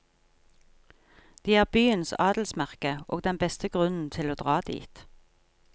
De er byens adelsmerke og den beste grunnen til å dra dit.